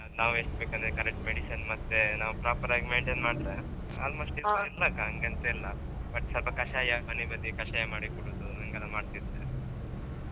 ನಾವ್ ಎಸ್ಟ್ ಬೇಕಂದ್ರೆ correct medicine ಮತ್ತೆ ನಾವ್ proper ಆಗಿ maintain ಮಾಡ್ರೆ almost ಹಾಂಗೆಂತ ಇಲ್ಲ. but ಸ್ವಲ್ಪ ಕಷಾಯ ಮನಿ ಬದಿ ಕಷಾಯಾ ಮಾಡಿ ಕುಡುದು ಹೀಂಗ್ ಎಲ್ಲ ಮಾಡ್ತಿದ್ರೆ.